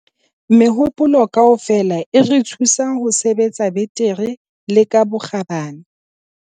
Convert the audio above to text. Mehopolo kaofela e re thusa ho sebetsa betere le ka bokgabane.